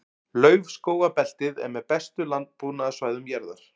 Laufskógabeltið er með bestu landbúnaðarsvæðum jarðar.